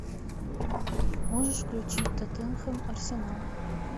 можешь включить тоттенхэм арсенал